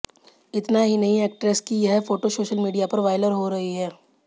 इतना ही नहीं एक्ट्रेस की यह फोटो सोशल मीडिया पर वायरल हो रही हैं